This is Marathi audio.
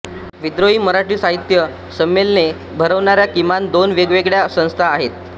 विद्रोही मराठी साहित्य संमेलने भरवणाऱ्या किमान दोन वेगळ्यावेगळ्या संस्था आहेत